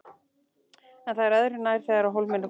En það er öðru nær þegar á hólminn er komið.